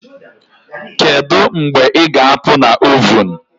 Kedu mgbe ị ga-apụ na ovun